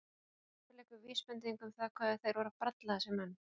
Jafnvel einhver vísbending um það hvað þeir voru að bralla þessir menn.